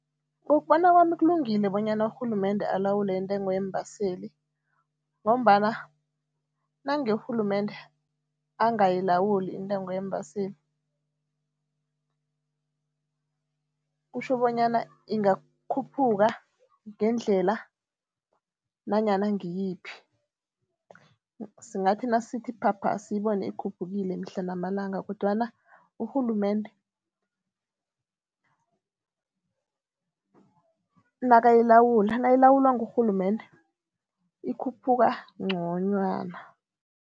Ngokubona kwami kulungile bonyana urhulumende alawule intengo yeembaseli ngombana nange urhulumende angayilawuli intengo yeembaseli, kutjho bonyana ingakhuphuka ngendlela nanyana ngiyiphi, singathi nasithi phapha siyibone ikhuphukile mihla namalanga langa kodwana urhulumende nakayilawula nayilawulwa ngurhulumende, ikhuphuka ngconywana.